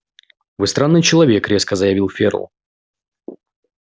вы странный человек резко заявил ферл